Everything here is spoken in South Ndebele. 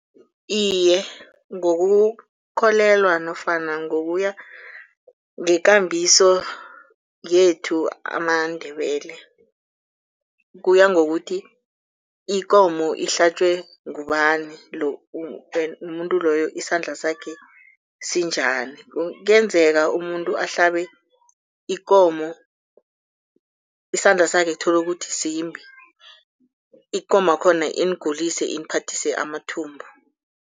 Iye, ngokukholelwa nofana ngokuya ngekambiso yethu amaNdebele. Kuya ngokuthi ikomo ihlatjwe ngubani umuntu loyo isandla sakhe sinjani. Kuyenzeka umuntu ahlabe ikomo, isandla sakhe uthole ukuthi simbi ikomo yakhona inigulise iniphathise amathumbu.